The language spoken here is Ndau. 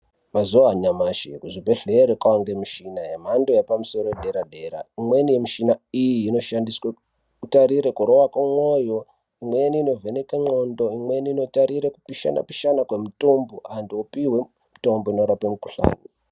Mazuwanyashi kuzvibhedhlera kwange mishina yemhando yepamusoro yedera dera imweni mishina iyi inoshandiswe kutarire kurova kwemwoyo, imweni inovheneke ndxondo, imweni inotarire kupishana pishana kwemutombo antu opihwe mitombo inorape mikhuhlani.